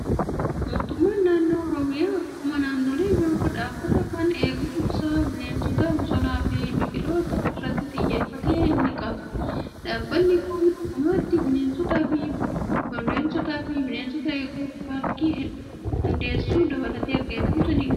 Mootummaan naannoo oromiyaa akkuma naannolee biroo dhaabbata kan eegumsa bineensota bosonaa fi biqiloota irratti xiyyeeffate ni qaba. Dhaabbanni kun dhugumatti bineensotaa fi bineensota eeguuf paarkii hundeessuu dabalatee eegumsa ni taasisa.